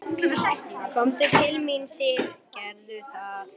Komdu til mín, Sif, gerðu það.